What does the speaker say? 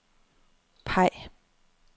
peg